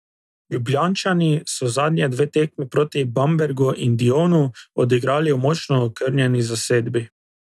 Ljubljančani so zadnje dve tekmi proti Bambergu in Dijonu odigrali v močno okrnjeni zasedbi.